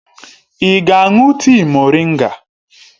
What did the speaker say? Ị ga-aṅụ tii moringa?